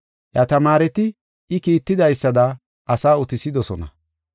Iya tamaareti, I kiitidaysada asaa utisidosona.